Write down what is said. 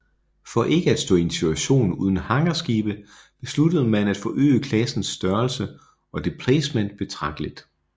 For ikke at stå i en situation uden hangarskibe besluttede man at forøge klassens størrelse og deplacement betragteligt